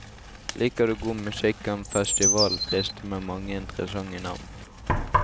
Liker du god musikk kan festivalen friste med mange interessante navn.